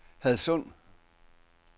Hadsund